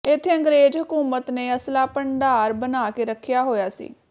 ਇੱਥੇ ਅੰਗਰੇਜ਼ ਹਕੂਮਤ ਨੇ ਅਸਲਾ ਭੰਡਾਰ ਬਣਾ ਕੇ ਰੱਖਿਆ ਹੋਇਆ ਸੀ